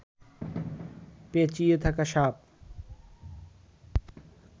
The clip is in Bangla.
পেঁচিয়ে থাকা সাপ